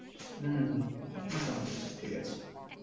উম হম মোটামুটি সব ঠিক আছে.